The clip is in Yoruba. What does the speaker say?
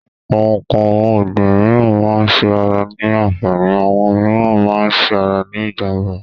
Àwọn n̄ǹkan ọ̀gbìn mííràn máa ń ṣe ara ní àǹfààní, àwọn mííràn máa ń ṣe ara ní ìjànbá.